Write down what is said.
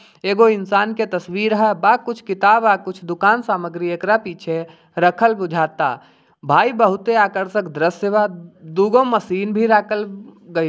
एगो इंसान के तस्वीर है बा कुछ किताब कुछ दुकान सामग्री एकरा पीछे रखल बुझाता भाई बहुते आकर्षक दृश्य बा दू गो मशीन भी राखल गेल --